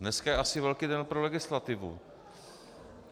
Dneska je asi velký den pro legislativu.